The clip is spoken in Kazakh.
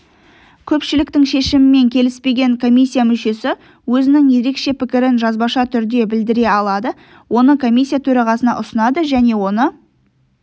көпшіліктің шешімімен келіспеген комиссия мүшесі өзінің ерекше пікірін жазбаша түрде білдіре алады оны комиссия төрағасына ұсынады және оны